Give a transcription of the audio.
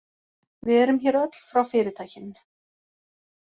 Við erum hér öll frá fyrirtækinu